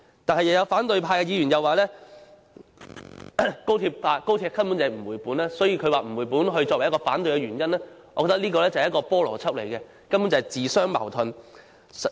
但是，又有反對派議員表示高鐵根本不能回本，以不能回本作為反對的原因，我覺得這是不合邏輯，根本是自相矛盾的。